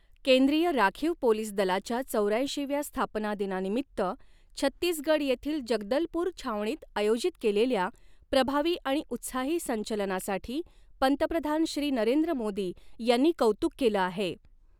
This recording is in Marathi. केंद्रीय राखीव पोलीस दलाच्या चौऱ्याऐंशीव्या स्थापना दिना निमित्त छत्तीसगड येथील जगदलपूर छावणीत आयोजित केलेल्या प्रभावी आणि उत्साही संचलनासाठी पंतप्रधान श्री नरेंद्र मोदी यांनी कौतुक केलं आहे.